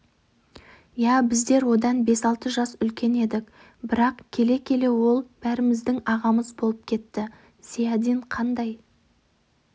ия біздер одан бес-алты жас үлкен едік бірақ келе-келе ол бәріміздің ағамыз болып кетті зиядин қандай